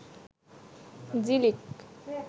Jhilik